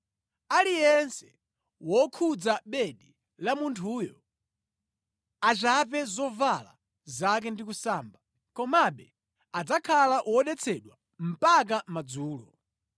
Aliyense wokhudza bedi la munthuyo achape zovala zake ndi kusamba. Komabe adzakhala wodetsedwa mpaka madzulo.